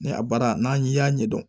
Ni a baara n'an y'a ɲɛ dɔn